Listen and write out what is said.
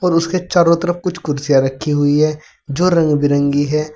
उसके चारों तरफ कुछ कुर्सियां रखी हुई है जो रंग बिरंगी है।